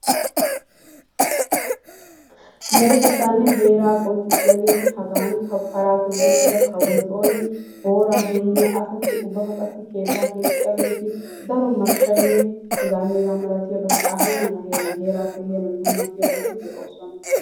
Meretettanne heeraa qonccissiyaageeti hagankka para toggi uttida Kawo Tooni, boora heemiya asati ubbaka qassi keetta keexxiyaageeti daro mashshaynneheganne hega malatiyaabati a heeran a heeran heerappe heeran dummatiyaabati de'oosona.